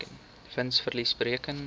wins verlies bereken